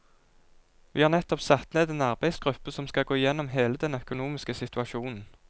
Vi har nettopp satt ned en arbeidsgruppe som skal gå igjennom hele den økonomiske situasjonen.